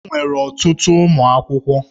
Enwere ọtụtụ ụmụ akwụkwọ.